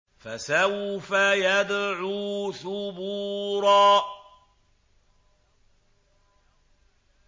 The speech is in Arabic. فَسَوْفَ يَدْعُو ثُبُورًا